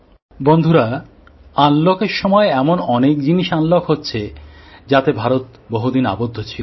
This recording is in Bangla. বন্ধুরা আনলক এর সময় এমন অনেক জিনিস আনলক হচ্ছে যাতে ভারত বহুদিন আবদ্ধ ছিল